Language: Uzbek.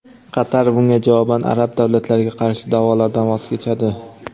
Qatar bunga javoban arab davlatlariga qarshi da’volardan voz kechadi.